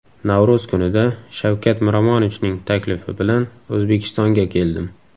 Navro‘z kunida Shavkat Miromonovichning taklifi bilan O‘zbekistonga keldim .